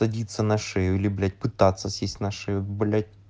садиться на шею или блять пытаться сесть на шею блять